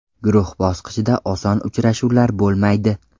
Guruh bosqichida oson uchrashuvlar bo‘lmaydi.